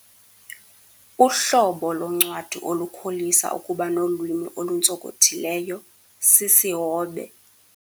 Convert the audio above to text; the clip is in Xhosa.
Uhlobo loncwadi olukholisa ukuba nolwimi oluntsonkothileyo, sisihobe.